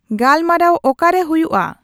ᱜᱟᱞᱢᱟᱨᱟᱣ ᱚᱠᱟᱨᱮ ᱦᱩᱭᱩᱜᱼᱟ